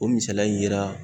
O misaliya in yera